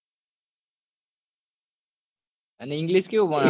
અને english કેવું ભણાવે?